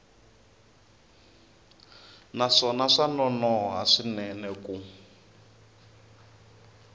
naswona swa nonoha swinene ku